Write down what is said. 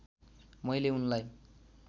मैले उनलाई